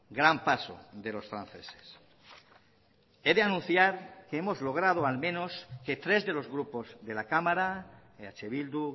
gran paso de los franceses he de anunciar que hemos logrado al menos que tres de los grupos de la cámara eh bildu